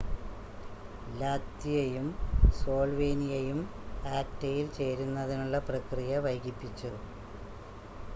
ലാത്വിയയും സ്ലോൾവേനിയയും ആക്റ്റയിൽ ചേരുന്നതിനുള്ള പ്രക്രിയ വൈകിപ്പിച്ചു